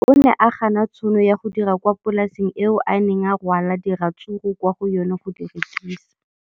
O ne a gana tšhono ya go dira kwa polaseng eo a neng rwala diratsuru kwa go yona go di rekisa.